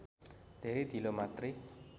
धेरै ढिलो मात्रै